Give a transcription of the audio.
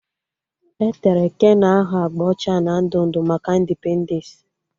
E tere keno ahụ agba ọcha na ndụ ndụ maka indipendensị